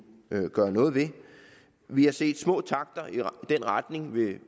gøre noget ved vi har set små takter i den retning med